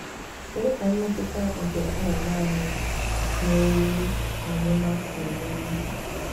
Kedu ka mmetụta nke ịnọ naanị na owu ọmụma si emeri?